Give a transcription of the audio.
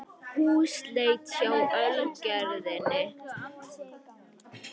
Húsleit hjá Ölgerðinni